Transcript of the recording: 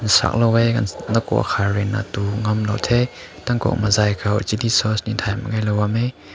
Sao lao weh nakauk hai rui na du lao te takum azai rui na dg sauce ne tai na lao bam meh.